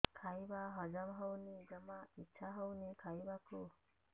ଖାଇବା ହଜମ ହଉନି ଜମା ଇଛା ହଉନି ଖାଇବାକୁ